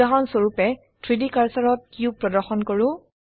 উদাহৰণস্বৰুপে 3ডি কাৰ্সাৰত কিউব প্ৰদৰ্শন কৰো